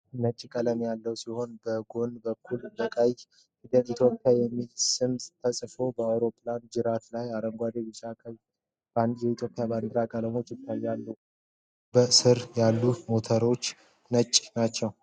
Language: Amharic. ነጭ ቀለም ያለው ሲሆን በጎን በኩል በቀይ ፊደላት "Ethiopian" የሚለው ስም ተጽፎበታል። በአውሮፕላኑ ጅራት ላይ አረንጓዴ፣ ቢጫ እና ቀይ የኢትዮጵያ ባንዲራ ቀለሞች ይታያሉ። በክንፉ ስር ያሉት ሞተሮች ነጭ ናቸው።